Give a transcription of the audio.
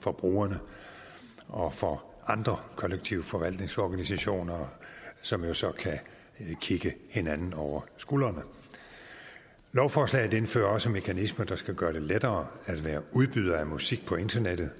for brugerne og for andre kollektiv forvaltnings organisationer som jo så kan kigge hinanden over skuldrene lovforslaget indfører også mekanismer der skal gøre det lettere at være udbyder af musik på internettet